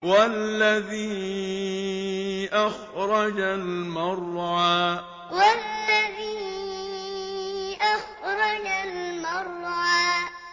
وَالَّذِي أَخْرَجَ الْمَرْعَىٰ وَالَّذِي أَخْرَجَ الْمَرْعَىٰ